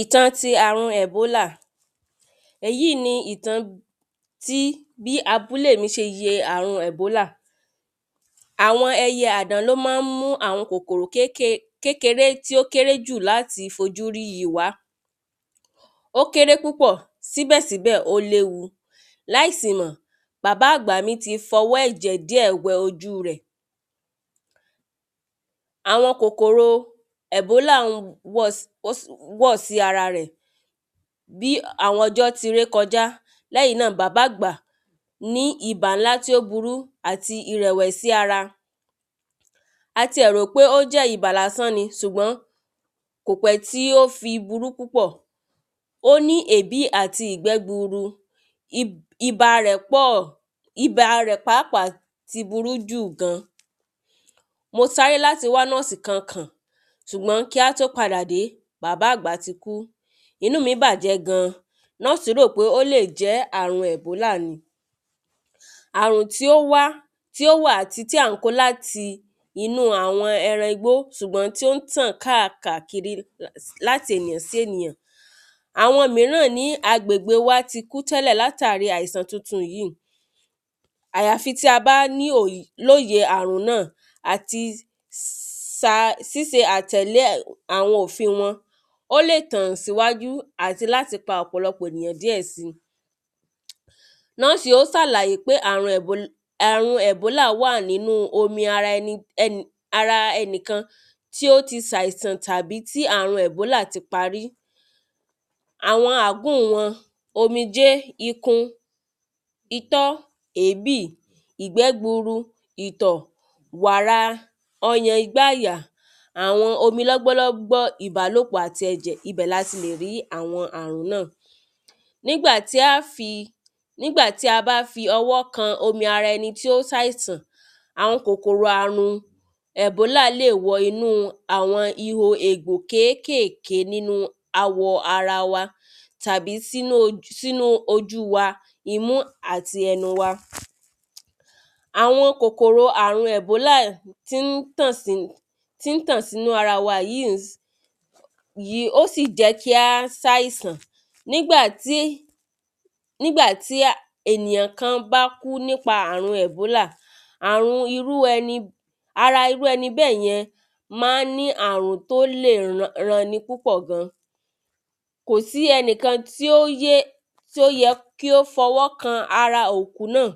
Ìtàn ti àrùn ẹ̀bólà èyí ni ìtàn tí bí abúlé mi ṣe yẹ àrùn ẹ̀bólà. Àwọn ẹyẹ àdán ló má ń mú àwọn kòkòrò kékèké kékeré tí ó kéré jù láti fojúrí yìí wá ó kéré púpọ̀ síbẹ̀ síbẹ̀ ó léwu láì sì mọ̀ bàbá àgbà mi ti fọwọ́ ẹ̀jẹ̀ díẹ̀ wẹ ojú rẹ̀. Àwọn kòkòrò ẹ̀bólà wọ̀ sí ara rẹ̀ bí àwọn ọjọ́ ti rékọjá lẹ́yìn náà bàbá àgbà ní ibà ńlá tí ó burú àti ìrẹ̀wẹ̀sì ara a ti ẹ̀ rò pé ó jẹ́ ibà lásán ni sùgbọ́n kò pẹ́ tí ó fi burú púpọ̀ ó ní èbí àti ìgbẹ́ gburu ibà rẹ̀ pọ̀ ibà rẹ̀ pàápàá ti burú jù gan mo sáré láti wá nọ́ọ̀sì kan kàn ṣùgbọ́n kí á tó padà dé bàbá àgbà ti kú inú mi bàjẹ́ gan nọ́ọ̀sì rò bó lè jẹ́ àrùn ẹ̀bólà ni àrùn tí ó wá tí ó wà tí à ń kó láti inú àwọn ẹran igbó ṣùgbọ́n tí ó ń tàn káàkàkiri sí ènìyàninú àwọn ẹran igbó ṣùgbọ́n tí ó ń tàn káàkàkiri sí ènìyàn àwọn míràn ní agbègbè wa ti kú tẹ́lẹ̀ látàrí àìsàn titun yìí àyàfi tí a bá lóye àrùn náà àti sa síse àtẹ̀lé àwọn òfin wọn ó lè tàn síwájú àti láti pa ọ̀pọ̀lọpọ̀ àwọn ènìyàn díẹ̀ sí Nọ́ọ̀sì ó sàlàyé pé àmì àrùn ẹ̀bólà wà nínú omi ara ẹni ẹni ara ẹnìkann tí ó ti sàìsàn àbí tí àrùn ẹ̀bólà ti pa rí àwọn àágùn wọn omijé ikun itọ́ èébì ìgbẹ́ gburu ìtọ̀ wàrà ọyàn igbá àyà àwọn omi lọ́gbọ́lọ́gbó ìbálòpọ̀ ẹ̀jẹ̀ ibẹ̀ ni a lè ti rí àwọn àrùn náà nígbà tí á fi nígbà tí a bá fi ọwọ́ kan ara ẹni tí ó ń sàìsàn àwọn kòkòrò àrùn ẹ̀bólà lè wo inú àwọn ihò ègbò kékèké wọ inú ara wa tàbí sínú ojú wa imú àti ẹnu wa. Àwọn kòkòrò àrùn ẹ̀bólà tí ń tàn sí tí ń tàn sínú ara wa yìí yìí ó sì jẹ́ kí á sàìsàn nígbà tí nígbà tí ènìyàn kan bá kú nípa àrùn ẹ̀bólà àrùn irú ẹni ara irú ẹni bẹ́yẹn má ń ní àrùn tó lè ran ni púpọ̀ gan kò sí ẹnikan tí ó yé tí ó yẹ kó fọwọ́ kan ara òkú náà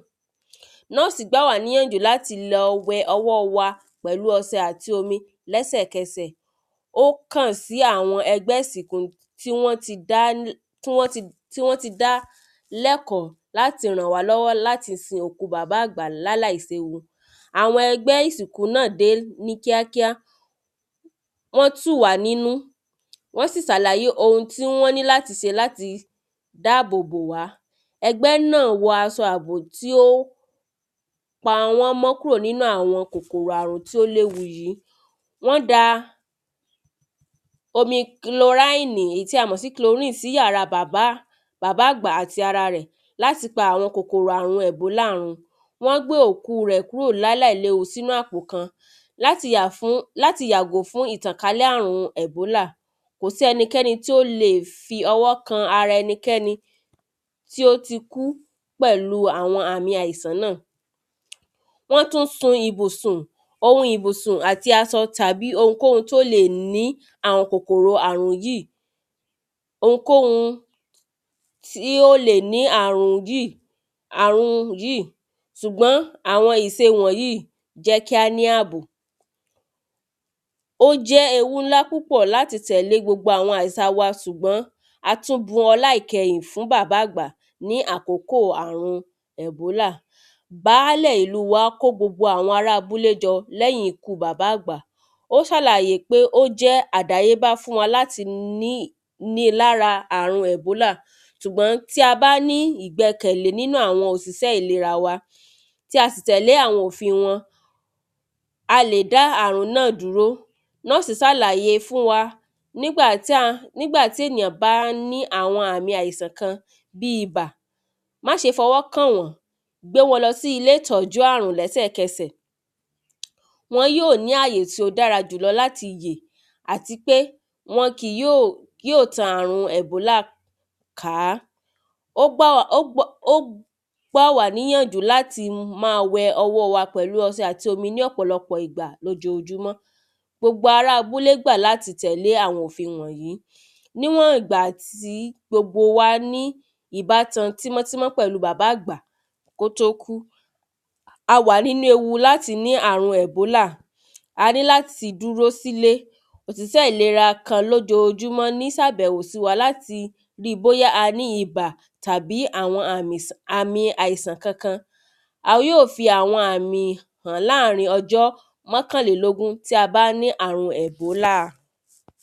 Nọ́ọ̀sì gbà wá níyànjú láti lọ fọ ọwọ́ wa pẹ̀lú ọsẹ àti omi lẹ́sẹ̀ kẹsẹ̀ ó kàn sí àwọn ẹgbẹ́ ìsìnkú tí wọ́n ti dá tí wọ́n ti dá lẹ́kọ̀ọ́ láti ràn wá lọ́wọ́ láti sin òkú bàbá àgbà láláì séwu àwọn ẹgbẹ́ ìsìnkú náà dé ní kíákíá wọ́n tù wá nínú wọ́n sì sàlàyé ohun tí wọ́n ní láti se láti dáàbò bò wá ẹgbẹ́ náà wọ asọ àbò tí ó pa wọ́n mọ́ kúrò nínú àwọn kòkòrò àrùn tí ó léwu yìí wọ́n da omi kloránì tí a mọ̀ sí chlorine sí yàrá bàbá àgbà àti ara rẹ̀ láti pa àwọn kòkòrò ẹ̀bólà run wọ́n gbé òkú rẹ̀ sínú àpò kan láti yà fún láti yàgò fún ìtànkálẹ̀ àrùn ẹ̀bólà kò sí ẹnikẹ́ni tí ó le fi ọwọ́ kan ara ẹnikẹ́ni tí ó ti kú pẹ̀lú àwọn àmì àìsàn náà wọ́n tún sun ìbùsùn ohun ìbùsùn àti asọ tàbí ohunkóhun tí ó le ní àwọn àrùn yìí. ohunkóhun tí ó le ní àwọn àrùn yìí àrùn yìí sùgbọ́n àwọn ìse wọ̀nyìí jẹ́ kí á ní àbò. Ó jẹ́ ewu ńlá púpọ̀ láti tẹ̀lé gbogbo àwọn àsà wa sùgbọ́n a tún bu ọlá ìkẹhìn fún bàbá àgbà ní àkókò àrùn ẹ̀bólà Báàlẹ̀ ìlú wa kó gbogbo àwọn ará abúlé jọ lẹ́yìn ikú bàbá àgbà ó ṣàlàyé pé ó jẹ́ àdáyébá fún wa láti ní ní lára láti ní àrun ẹ̀bólà ṣùgbọ́n tí a bá ní ìgbẹkẹ̀lé nínú àwọn òsìsẹ́ ìlera wa tí a sì tẹ̀lé àwọn òfin wọn a lè dá àrùn náà dúró nọ́ọ̀sì sàlàyé fún wa nígbà tí a nígbà tí ènìyàn bá ní àwọn àmì àìsàn kan bí ibà má ṣe fọwọ́ kàn wọ́n gbé wọn lọ sí ilé ìtọ́jú àrùn lẹ́sẹ̀ kẹsẹ̀ wọn yóò ní àyè tí ó dára jù lọ láti yè àti pé wọn kì yóò tan àrùn ẹ̀bólà ká ó gbà wá níyànjú láti má wẹ ọwọ́ wa pẹ̀lú ọsẹ àti omi ní ọ̀pọ̀lọpọ̀ ìgbà lójojúmọ́ gbogbo ará abúlé gbà láti tẹ̀lé àwọn òfin wọ̀nyìí níwọ̀n ìgbà tí gbogbo wa ní ìbátan tímọ́ tímọ́ pẹ̀lú bàbá àgbà kó tó kú a wà nínú ewu láti ní àrùn ẹ̀bólà a ní láti dúró sílé òsìsẹ́ ìlera kan lójojúmọ́ ní sàbẹ̀wò sí wa láti rí bóyá a ní ibà tàbí àwọn àmì àìsàn kankan a yóò fi àwọn àmì hàn láàrin ọjọ́ mọ́kànlélógún tí a bá ní àrùn ẹ̀bólà.